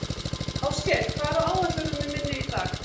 Áskell, hvað er á áætluninni minni í dag?